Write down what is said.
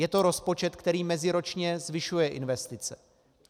Je to rozpočet, který meziročně zvyšuje investice.